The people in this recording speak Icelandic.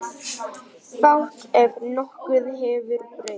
Fátt ef nokkuð hefur breyst.